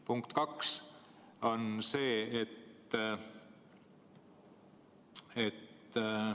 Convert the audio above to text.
Punkt kaks on see, et ...